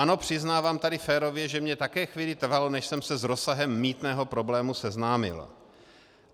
Ano, přiznávám tady férově, že mi také chvíli trvalo, než jsem se s rozsahem mýtného problému seznámil.